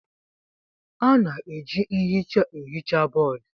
A na-eji nhicha ehicha bọọdụ.